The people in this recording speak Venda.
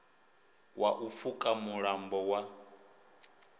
wa u pfuka mulambo wa